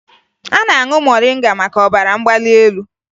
A na-aṅụ moringa maka ọbara mgbali elu